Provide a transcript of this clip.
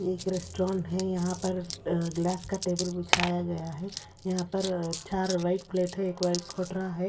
ये एक रेस्टोरेंट है यहां पर ग्लास का टेबल बिछाया गया है यहां पर चार व्हाइट प्लेट है एक वाइट कोटरा है।